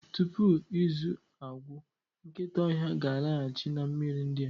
Tupu izu a agwụ, nkịta ọhịa ga-alaghachi na mmiri ndị a.